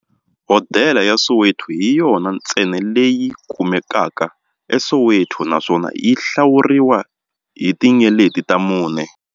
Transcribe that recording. Hodela ya Soweto hi yona ntsena leyi kumekaka eSoweto, naswona yi hlawuriwa hi tinyeleti ta mune.